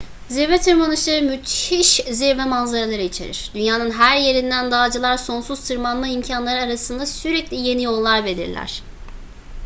zirve tırmanışları müthiş zirve manzaraları içerir dünyanın her yerinden dağcılar sonsuz tırmanma imkanları arasında sürekli yeni yollar belirler